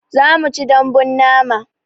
Zamuci daɓbun nama